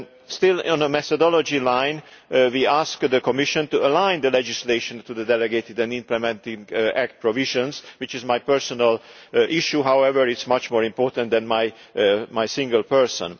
Still on a methodology line, we asked the Commission to align the legislation to the delegated and implementing act provisions, which is my personal issue, although it is much more important than my single person.